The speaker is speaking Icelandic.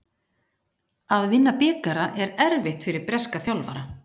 Að vinna bikara er erfitt fyrir breska þjálfara.